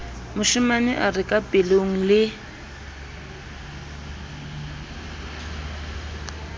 moshemane a re kapelong le